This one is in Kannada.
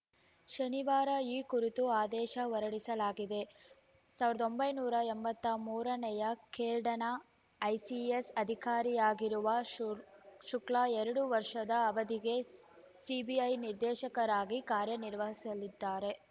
ಶನಿವಾರ ಈ ಕುರಿತ ಆದೇಶ ಹೊರಡಿಸಲಾಗಿದೆ ಸಾವಿರದ ಒಂಬೈನೂರ ಎಂಬತ್ತ ಮೂರನೇ ಕೇರ್ಡನ ಐಪಿಎಸ್‌ ಅಧಿಕಾರಿಯಾಗಿರುವ ಶು ಶುಕ್ಲಾ ಎರಡು ವರ್ಷದ ಅವಧಿಗೆ ಸಿಬಿಐ ನಿರ್ದೇಶಕರಾಗಿ ಕಾರ್ಯನಿರ್ವಹಿಸಲಿದ್ದಾರೆ